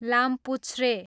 लामपुच्छ्रे